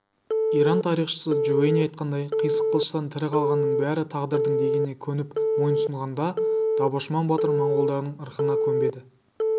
иран тарихшысы джувейни айтқандай қисық қылыштан тірі қалғанның бәрі тағдырдың дегеніне көніп мойынсұнғанда дабошман батыр монғолдардың ырқына көнбеді